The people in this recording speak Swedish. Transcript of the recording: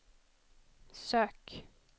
sök